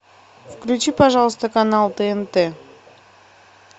включи пожалуйста канал тнт